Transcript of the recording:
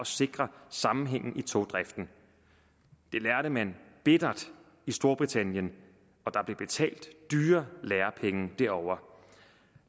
sikre sammenhængen i togdriften det lærte man bittert i storbritannien og der blev betalt dyre lærepenge derovre